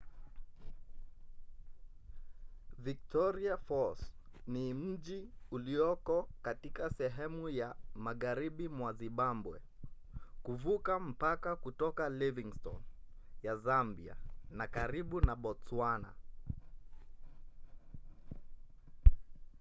victoria falls ni mji ulioko katika sehemu ya magharibi mwa zimbabwe kuvuka mpaka kutoka livingstone ya zambia na karibu na botswana